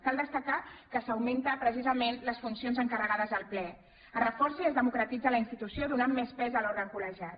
cal destacar que s’augmenten precisament les funcions encarregades al ple es reforça i es democratitza la institució i es dóna més pes a l’òrgan col·legiat